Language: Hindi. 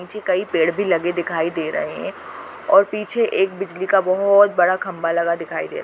नीचे कई पेड़ भी लगे दिखाई दे रहे है और पीछे एक बिजली का बहोत बड़ा खंबा लगा दिखाई दे रहा --